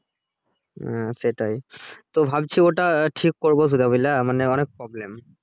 হুম সেটাই তো ভাবছি ওটা ঠিক করবো সুধা বুঝলা মানে অনেক problem